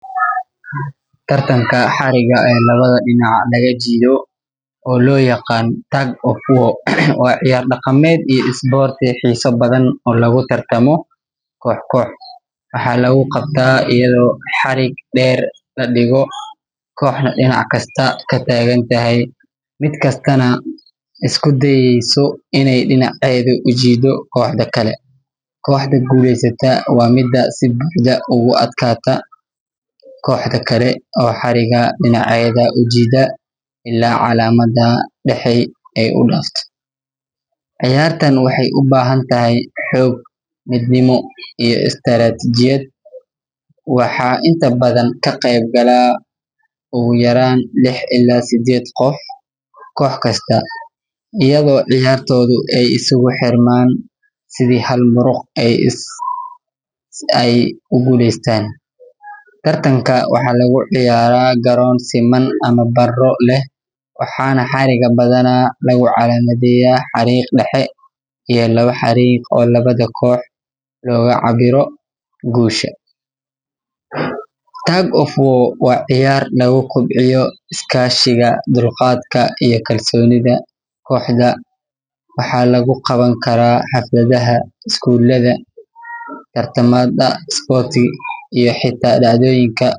Tartanka xariga ee lawadha dina laga jidayo oo lo yaqano tug war waa ciyar daqameed xisa badan oo lagu tartamo kox kox waxaa lagu qabtaa iyado xirig deer ladigo oo dinac kasta ladigo mar kastana isku dayeyso in ee dina ujido kale, koxaha gulesata si ee ugu aadkata koxda kale oo xariga dinacyaada kale ujida, ciyartan waxee u bahantahy xognimo iyo istiratijad, waxaa inta badan ka qeb gala ogu yaran kox kasta iyaga oo ciyartodha iskugu xirmaan si ee hal maro u gulestan, tartanka waxaa lagu ciyara garon siman ama caro leh, tug of war in u kobciyo is kashiga iyo kobcinta koxda waxaa lagu qawan karaa xaflaadaha isgulaha tartamaada iyo xita dac doyinka.